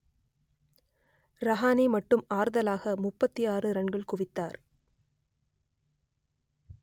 ரஹானே மட்டும் ஆறுதலாக முப்பத்தி ஆறு ரன்கள் குவித்தார்